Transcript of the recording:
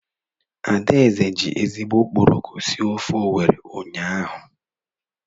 Adaeze ji ezigbo okporoko sie ofe Owere unyaahụ.